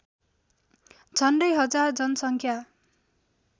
झन्डै हजार जनसङ्ख्या